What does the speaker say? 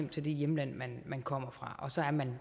til det hjemland man kommer fra og så er man